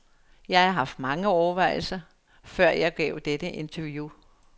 Jeg har haft mange overvejelser, før jeg gav dette interview.